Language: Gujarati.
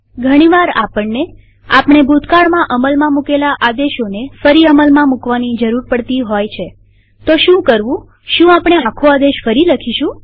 ઘણીવાર આપણનેઆપણે ભૂતકાળમાં અમલમાં મુકેલા આદેશોને ફરી અમલમાં મુકવાની જરૂર પડતી હોય છેતો શું કરવુંશું આપણે આખો આદેશ ફરી લખીશું